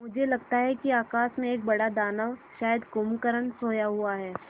मुझे लगता है कि आकाश में एक बड़ा दानव शायद कुंभकर्ण सोया हुआ है